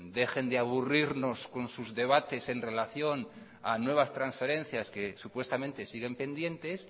dejen de aburrirnos con sus debates en relación a nuevas transferencias que supuestamente siguen pendientes